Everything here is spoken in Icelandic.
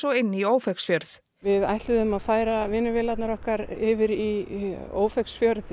og inn í Ófeigsfjörð við ætluðum að færa vinnuvélarnar okkar yfir í Ófeigsfjörð